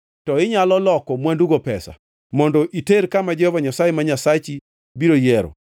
to inyalo loko mwandugo pesa mondo iter kama Jehova Nyasaye ma Nyasachi biro yiero.